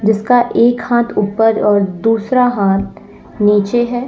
जिसका एक हाथ ऊपर और दूसरा हाथ नीचे है।